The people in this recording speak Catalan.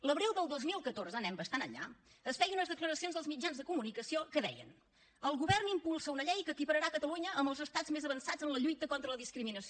l’abril del dos mil catorze anem bastant enllà es feien unes declaracions als mitjans de comunicació que deien el govern impulsa una llei que equipararà catalunya amb els estats més avançats en la lluita contra la discriminació